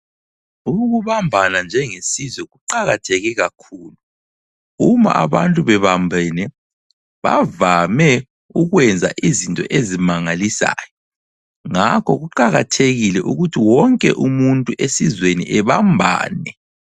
Ukubambana njengesizwe kuqakatheke kakhulu, uma abantu bebambene bavame ukwenza izinto ezimangalisayo. Ngakho kuqakathekile ukuthi wonke umuntu esizweni ebambane.